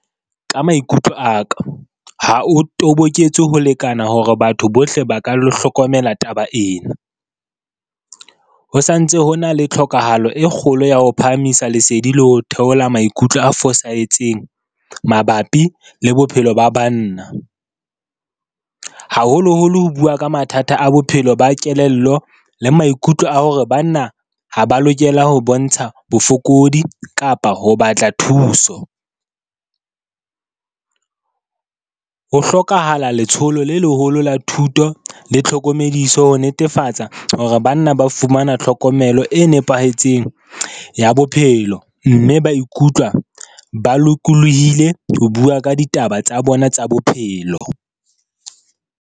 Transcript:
Ka maikutlo a ka, ha o toboketse ho lekana hore batho bohle ba ka lo hlokomela taba ena. Ho santse ho na le tlhokahalo e kgolo ya ho phahamisa lesedi le ho theola maikutlo a fosahetseng, mabapi le bophelo ba banna, haholoholo ho bua ka mathata a bophelo, ba kelello le maikutlo a hore banna ha ba lokela ho bontsha bofokodi kapa ho batla thuso. Ho hlokahala letsholo le leholo la thuto le tlhokomediso ho netefatsa hore banna ba fumana tlhokomelo e nepahetseng ya bophelo. Mme ba ikutlwa ba lokolohile ho bua ka ditaba tsa bona tsa bophelo.